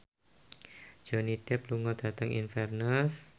Johnny Depp lunga dhateng Inverness